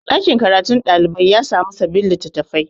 ɗakin karatun ɗalibai ya samu sabbin litattafai